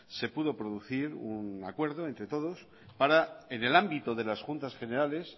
se pudo producir un acuerdo entre todos para en el ámbito de las juntas generales